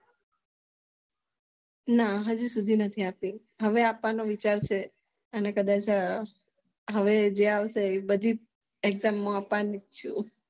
ના હજુ સુધી નથી આપી હવે આપવાનો વિચાર છે અને કદાચ હવે જે આવશે એ બધી exam આપવાની હે